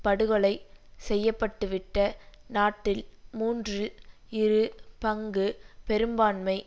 படுகொலை செய்யப்பட்டுவிட்ட நாட்டில் மூன்றில் இரு பங்கு பெரும்பான்மை